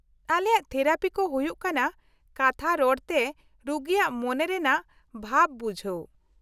-ᱟᱞᱮᱭᱟᱜ ᱛᱷᱮᱨᱟᱯᱤ ᱠᱚ ᱦᱩᱭᱩᱜ ᱠᱟᱱᱟ ᱠᱟᱛᱷᱟ ᱨᱚᱲᱛᱮ ᱨᱩᱜᱤᱭᱟᱜ ᱢᱚᱱᱮ ᱨᱮᱱᱟᱜ ᱵᱷᱟᱵ ᱵᱩᱡᱷᱟᱹᱣ ᱾